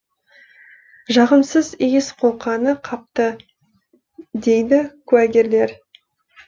жағымсыз иіс қолқаны қапты дейді куәгерлер